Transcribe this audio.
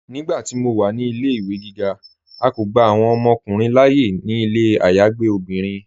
Nígbàtí mó wà ní ilẹ̀-ìwé gígá, à kó gbà awọn ọmọkùnrin láàyè ní ilẹ̀ ayágbe obìnrin.